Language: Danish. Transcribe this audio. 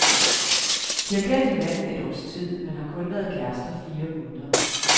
De har kendt hinanden et års tid, men har kun været kærester fire måneder.